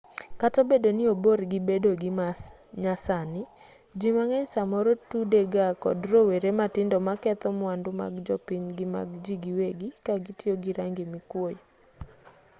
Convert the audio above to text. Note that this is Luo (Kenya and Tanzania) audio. kata obedo ni obor gi bedo gima nyasani ji mang'eny samoro tude ga kod rowere matindo maketho mwandu mag jopiny gi mag ji giwegi ka gitiyo gi rangi mikwoyo